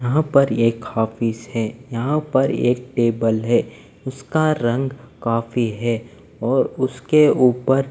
यहां पर एक ऑफिस है यहां पर एक टेबल है उसका रंग काफी है और उसके ऊपर--